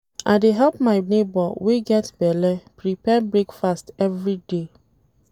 I dey help my nebor wey get belle prepare breakfast everyday.